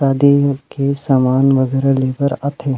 शादी के सामान वगैरह लेकर आथे।